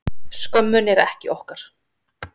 Skömmin er ekki okkar